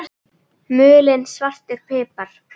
Mulinn svartur pipar